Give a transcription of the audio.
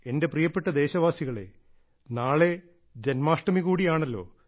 എന്റെ പ്രിയപ്പെട്ട ദേശവാസികളേ നാളെ ജന്മാഷ്ടമി കൂടിയാണല്ലോ